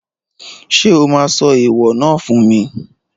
Ṣé o máa sọ ẹ̀ẹ̀wọ̀ náà fún mi?